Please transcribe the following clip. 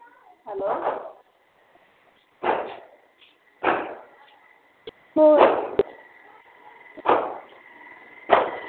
hello